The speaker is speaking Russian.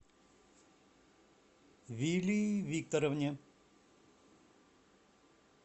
вилии викторовне